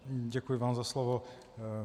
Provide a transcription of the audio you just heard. Děkuji vám za slovo.